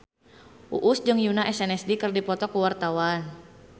Uus jeung Yoona SNSD keur dipoto ku wartawan